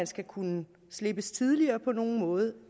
skal kunne slippes tidligere på nogen måde